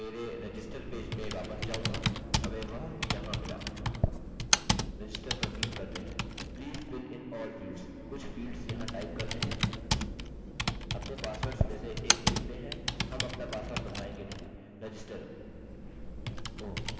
Register oh! Repeat password repeat password